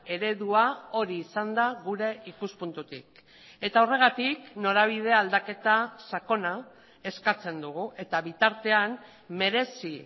eredua hori izan da gure ikuspuntutik eta horregatik norabide aldaketa sakona eskatzen dugu eta bitartean merezi